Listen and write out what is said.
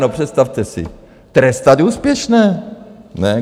No představte si, trestat úspěšné!